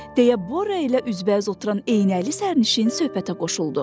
deyə Borya ilə üzbəüz oturan eynəkli sərnişin söhbətə qoşuldu.